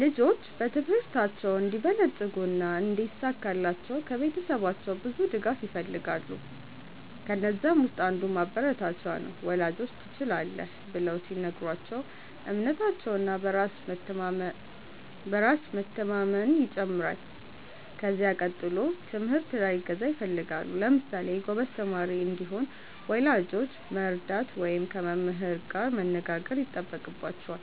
ልጆች በትምህርታቸው እንዲበለጽጉ እና እንዲሳካላቸው ከቤተሰባቸው ብዙ ድጋፍ ይፈልጋሉ። ከነዛም ውስጥ አንዱ ማበረታቻ ነው፤ ወላጆች “ትችላለህ” ብለው ሲነግሯቸው እምነታቸው እና በራስ መቸማመናየው ይጨምራል። ከዚያ ቀጥሎ ትምህርት ላይ እገዛ ይፈልጋሉ። ለምሳሌ ጎበዝ ተማሪ እንዲሆን ወላጆች መርዳት ወይም ከመምህር ጋር መነጋገር ይጠበቅባቸዋል።